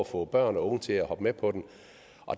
få børn og unge til at hoppe med på den